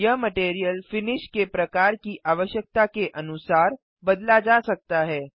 यह material finish के प्रकार की आवश्यकता के अनुसार बदला जा सकता है